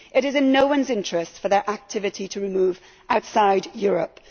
It is in no one's interest for their activity to move outside Europe.